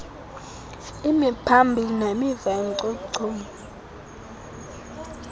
imiphambili nemiva yenchochoyi